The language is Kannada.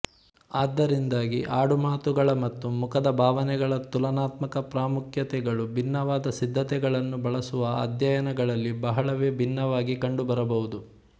ಆದ್ದರಿಂದಾಗಿ ಆಡುಮಾತುಗಳ ಮತ್ತು ಮುಖದ ಭಾವನೆಗಳ ತುಲನಾತ್ಮಕ ಪ್ರಾಮುಖ್ಯತೆಗಳು ಭಿನ್ನವಾದ ಸಿದ್ಧತೆಗಳನ್ನು ಬಳಸುವ ಅಧ್ಯಯನಗಳಲ್ಲಿ ಬಹಳವೇ ಭಿನ್ನವಾಗಿ ಕಂಡುಬರಬಹುದು